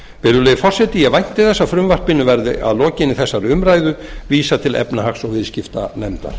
virðulegi forseti ég vænti þess að frumvarpinu verði að lokinni þessari umræðu vísað til efnahags og viðskiptanefndar